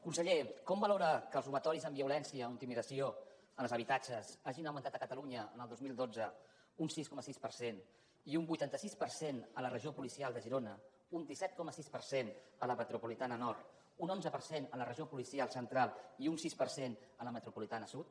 conseller com valora que els robatoris amb violència o intimidació en els habitatges hagin augmentat a catalunya el dos mil dotze un sis coma sis per cent i un vuitanta sis per cent a la regió policial de girona un disset coma sis per cent a la metropolitana nord un onze per cent a la regió policial central i un sis per cent a la metropolitana sud